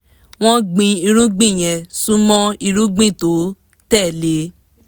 wọ́n gbìn irúgbìn yẹn sún mọ́ irúgbìn tó tẹ̀ lé